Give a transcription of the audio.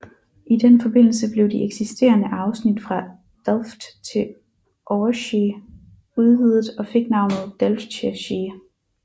I den forbindelse blev de eksisterende afsnit fra Delft til Overshie udvidet og fik navnet Delftse Schie